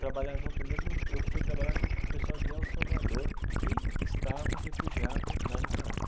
Trabalhar junto mesmo, eu eu fui trabalhar com o pessoal de El Salvador, que estava refugiado na Nicarágua.